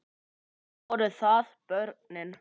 Nú voru það börnin.